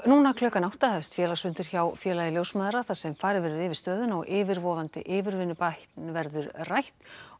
nú klukkan átta hefst félagsfundur hjá Félagi ljósmæðra þar sem farið verður yfir stöðuna og yfirvofandi yfirvinnubann verður rætt